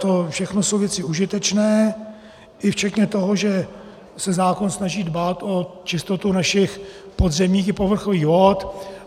To všechno jsou věci užitečné i včetně toho, že se zákon snaží dbát o čistotu našich podzemních i povrchových vod.